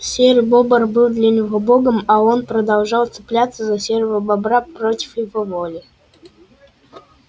серый бобр был для него богом а он продолжал цепляться за серого бобра против его воли